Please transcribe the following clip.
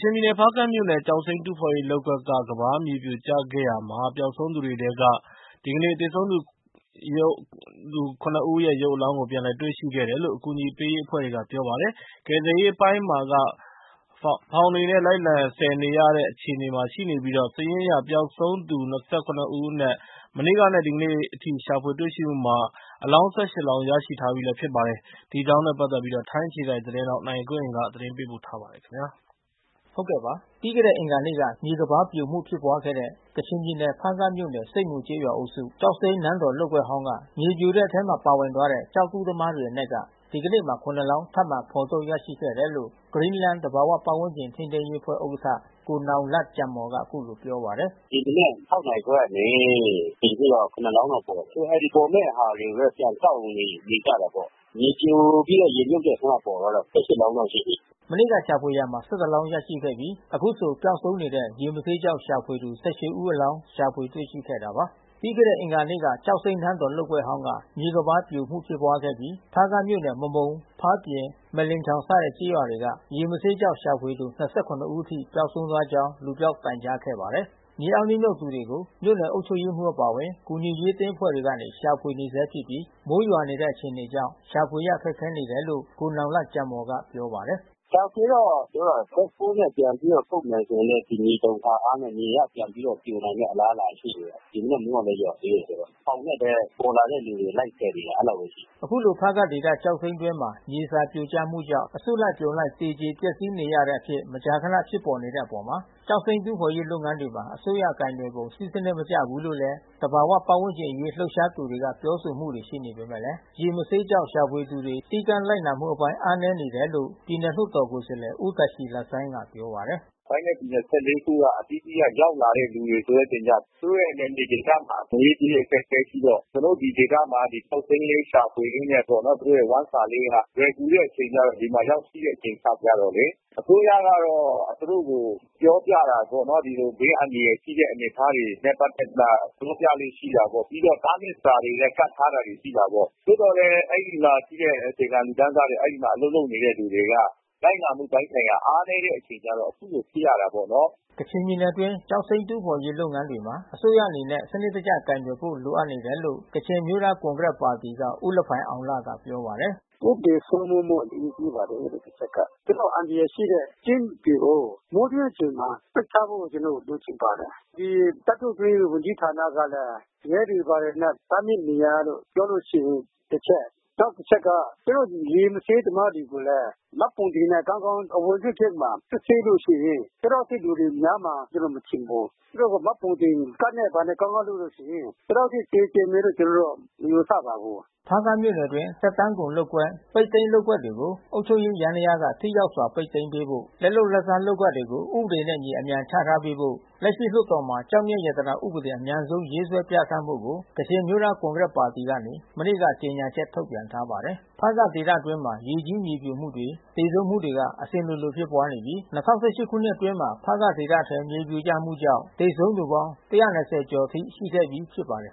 ချင်ပြည်နယ် ဖါးကန့်မြို့နယ် ကျောက်စိမ်းတူးဖေါ်ရေးလုပ်ကွက်က ကမ်းပါး မြေပြိုကျခဲ့ရာမှာ ပျောက်ဆုံး သူတွေအထဲက သေဆုံးသူ (၇) ဦး အလောင်းကို ဒီကနေ့ ပြန်လည်တွေ့ရှိခဲ့တယ်လို့ အကူညီပေးအဖွဲ့တွေက ပြောပါတယ်။ ကယ်ဆယ်ရေး အပိုင်းမှာက ဖေါင်တွေနဲ့လိုက်လံဆယ်နေရတဲ့ အခြေအနေမှာ ရှိနေပြီး စာရင်းအရ ပျောက်ဆုံးသူ (၂၇) ဦးအနက်က မနေ့ကနဲ့ ဒီကနေ့အထိ အလောင်း (၁၈) လောင်းရရှိထားပြီးဖြစ်ပါတယ်။ အကြောင်းစုံကို ဗွီအိုအေ ထိုင်းအခြေစိုက်သတင်းထောက် နိုင်ကွန်းအိန်ကနေ သတင်းပေးပို့ ထားပါတယ်။ ပြီးခဲ့တဲ့အင်္ဂါနေ့က မြေကမ်းပါးပြိုမှု ဖြစ်ပွားခဲ့တဲ့ ကချင်ပြည်နယ် ဖါးကန့်မြို့နယ် ဆိပ်မူကျေးရွာအုပ်စု ကျောက်စိမ်း နန်းတော် လုပ်ကွက်ဟောင်းက မြေပြိုတဲ့ အထဲ ပါဝင်သွားတဲ့ ကျောက်တူးသမားတွေအနက်က ဒီကနေ့မှာ (၇) လောင်း ထပ်မံ ဖေါ်ထုတ်ရရှိခဲ့တယ်လို့ Green Land သဘာဝပတ်ဝန်းကျင်ထိန်းသိမ်းရေး အဖွဲ့ ဥက္ကဋ္ဌ ကိုနောင်လတ် ဂျမ်မော်က အခုလိုပြောပါတယ်။ “ဒီမနက် (၆) နာရီခွဲကနေ ခုချိန်ထိတော့ (၇) လောင်းတော့ပေါ်တယ်။ အခုပေါ်မဲ့ ဟာတွေကိုပဲ ပြန်ကောက်နေ ကြတယ်ပေါ့။ မြေပြိုပြီးရေမြုတ်တဲ့အထဲမှာပေါ်တာ (၁၈) လောင်းတော့ရှိပြီ။” မနေ့ကရှာဖွေခဲ့ရာမှာ (၁၁) လောင်းရရှိရရှိပြီး အခုဆိုပျောက်ဆုံးနေတဲ့ ရေမဆေး ကျောက် ရှာဖွေသူ (၁၈) ဦးအလောင်း ရှာဖွေတွေ့ရှိခဲ့တာပါ။ ပြီးခဲ့တဲ့အင်္ဂါနေ့က ကျောက်စိမ်းနန်းတော်လုပ်ကွက်ဟောင်းက မြေကမ်းပါး ပြိုခဲ့ပြီး ဖါးကန့်မြို့နယ် မမုံ၊ ဖားပြင်၊ မက်လင်ချောင်စတဲ့ကျေးရွာတွေက ရေမဆေးရှာဖွေသူ (၂၇) ဦးထိ ပျောက်ဆုံးသွားကြောင်း လူပျောက် တိုင်ကြားခဲ့ပါတယ်။ မြေအောက်နစ်မြုပ်နေသူတွေကို မြို့နယ်အုပ်ချုပ်ရေးမှူးအပါအဝင် ကူညီရေး အသင်း အဖွဲ့တွေကနေ ရှာဖွေနေ ဆဲဖြစ်ပြီး မိုးရွာနေတဲ့အခြေအနေကြောင့် ရှာဖွေရခက်ခဲနေတယ်လို့ ကိုနောင်လတ်ဂျမ်မော် ကပြောပါတယ်။ “ရှာဖွေရေးတော့ သူတို့က ဘက်ဟိုးနဲ့ပြန်ပြီးတော့ထုတ်မယ်ဆိုရင်လည်း ဒီမြေတုန်ခါအားနဲ့ မြေကပြန်ပြီးတော့ ပြိုမယ့် အလားအလာရှိတယ်။ ဒီမနက်မိုးကလည်းရွာသေးတယ်ဆိုတော့။ ဖေါင်နဲ့ပဲ ပေါ်လာတဲ့လူတွေကို လိုက်ဆယ်နေတာ။ အဲဒီလောက်ပဲရှိတယ်။” အခုလို ဖားကန့်ဒေသကျောက်စိမ်းတွင်းမှာ မြေစာပြိုကျမှုကြောင့် လူအစုလိုက် အပြုံလိုက် မကြာခန သေကြေ ပျက်စီးနေတဲ့အပေါ် ကျောက်စိမ်းတူးဖေါ်ရေး လုပ်ငန်းတွေမှာ အစိုးရကိုင်တွယ်ပုံစည်းစံနစ်မကျဘူးလို့ သဘာ၀ ပတ်ဝန်းကျင် အရေး လှုပ်ရှားသူတွေက ပြောဆိုမှုတွေရှိနေပေမယ့် ရေမဆေးကျောက် ရှာဖွေ သူတွေ စည်းကမ်း လိုက်နာမှု အားနည်းနေတယ်လို့ ပြည်နယ်လွှတ်တော် ကိုယ်စားလှယ် ဦးတာရှီလဆိုင်းက ပြောပါတယ်။ “တိုင်းနဲ့ပြည်နယ် (၁၄) ခုက အသီးသီးကရောက်လာတဲ့ လူတွေကျသူတို့ရဲ့ နယ်မြေ ဒေသမှာ ငွေရေးကြေးရေး အခက်ခဲရှိတော့ ကျနော်တို့ဒီဒေသမှာ ကောက်သိမ်းရင်း ရှာဖွေရင်းနဲ့ပေါ့။ သူတို့ရဲ့ဝမ်းစာရေးက လွယ်ကူတဲ့ အချိန် ကျတော့ ဒီမှာရောက်ရှိတဲ့အနေအထားကျတော့လေ။ အစိုးရကတော့ သူတို့ကို ပြောပြတာပေါ့နော်။ ဒီလို ဘေးအန္တရာယ်ရှိတဲ့အနေအထားတွေ နဲ့ပတ်သက်ပြီးမှ ပြောပြလေ့ရှိတာပေါ့။ ပြီးတော့တားမြစ်စာတွေလည်း ကပ်ထား တာရှိတာပေါ့။ သို့သော်လည်း အဲဒီမှာရှိတဲ့အခြေခံလူတန်းစားတွေ အဲဒီမှာအလုပ်လုပ်နေတဲ့ လူတွေက လိုက်နာမှုပိုင်းဆိုင်ရာ အားနည်းတဲ့အခြေကျတော့ အခုလိုဖြစ်ရ တာပေါ့နော်။” ကချင်ပြည်နယ်အတွင်းကကျောက်စိမ်းတူးဖေါ်ရေးလုပ်ငန်းတွေမှာ အစိုးရအနေနဲ့ စံနစ်တကျကိုင်တွယ်ဖို့ လိုအပ်တယ်လို့ ကချင်အမျိုးသားကွန်ကရက်ပါတီက ဦးလဖိုင်အောင်လ ပြောပါတယ်။ “ဥပဒေစိုးမိုးမှုအရေးကြီးပါတယ်အဲဒီဘက်က။ ဒီလောက်အန္တရာယ်ရှိတဲ့ ကျင်းတွေ ကို မိုးတွင်းအချိန်မှာ ပိတ် ထားဖို့ ကျနော်တို့ အလိုရှိပါတယ်။ ဒီသတ္တုတွင်းဝန်ကြီး ဌာနကလည်း ရဲတွေဘာတွေနဲ့ တားမြစ်နေရာလို့ ပြော လို့ရှိရင် တချက်။ နောက် တချက်က သူတို့ရေမဆေးသမားတွေကိုလည်း မှတ်ပုံတင်နဲ့ကောင်းကောင်း အဝင် အထွက်ဂိတ်မှာ စစ်ဆေးလို့ ရှိရင် ဒီလောက်အထိလူတွေများမှာ ကျနော် မထင်ဘူး။ သူတို့ကို မှတ်ပုံတင်ကဒ်နဲ့ ဘာနဲ့ ကောင်းကောင်း လုပ်လို့ရှိရင် ဒီလောက်အထိသေကြေမယ်လို့ ကျနော်တော့မယူဆပါဘူး။” ဖါးကန့်မြို့နယ်အတွင်း သက်တမ်းကုန်လုပ်ကွက် ပိတ်သိမ်းလုပ်ကွက်တွေကို အုပ်ချုပ်ရေးယန္တရားက ထိ ရောက် စွာ ပိတ်သိမ်းပေးဖို့ လက်လုပ်လက်စား လုပ်ကွက်တွေ ဥပဒေနဲ့အညီ အမြန်ချထားပေးဖို့ လက်ရ လွှတ် တော်မှာ ကျောက် မျက်ရတနာဥပဒေ အမြန်ဆုံးရေးဆွဲပြဌာန်းဖို့ကို ကချင် အမျိုးသား ကွန်ဂရက် ပါတီကနေ မနေ့က ကျေ ညာချက်ထုတ်ပြန်ထားပါတယ်။ ဖါးကန့်ဒေသအတွင်းမှာ ရေကြီးမြေပြိုမှုတွေ လူသေဆုံးမှုတွေ အစဉ်လိုဖြစ် ပွါး နေပြီး ၂၀၁၈ ခုနှစ်အတွင်းမှာ ဖားကန့်ဒေသထဲ မြေပြိုကျမှုကြောင့် သေဆုံး သူပေါင်း ၁၂၀ ကျော်အထိ ရှိခဲ့ပြီးဖြစ်ပါတယ်